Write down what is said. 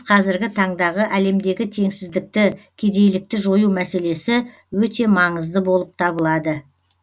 қазіргі таңдағы әлемдегі теңсіздікті кедейлікті жою мәселесі өте маңызды болып табылады